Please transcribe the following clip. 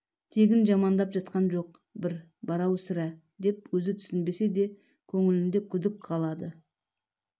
тегін жамандап жатқан жоқ бір бар-ау сірә деп өзі түсінбесе де көңілінде күдік қалады